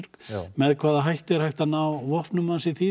með hvaða hætti er hægt að ná vopnum hans í því